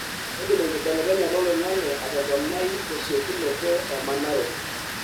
keidim enkibelekenyata oloingange atoponai tesiokinoto emanaroto